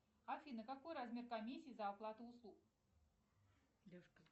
афина какой размер комиссии за оплату услуг